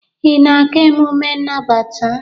ị na-aga emume nnabata?